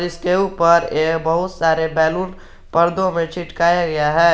इसके ऊपर ये बहुत सारे बैलून पर्दो में चिटकाया गया है।